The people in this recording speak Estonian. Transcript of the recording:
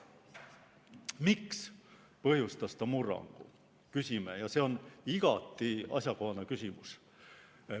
Miks ta põhjustas murrangu, küsime, ja see on igati asjakohane küsimus.